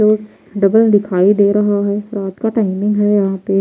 और जो डबल दिखाई दे रहा है रात का टाइमिंग है यहां पे--